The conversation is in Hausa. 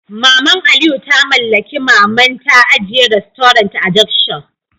Maman Aliyu ta mallaki Maman ta ajiye restaurant a junction